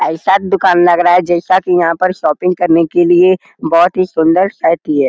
ऐसा दुकान लग रहा है जैसा की यहाँ पर शॉपिंग करने के लिए बहुत ही सुंदर शर्ट लिए।